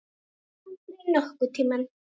Aldrei nokkurn tímann.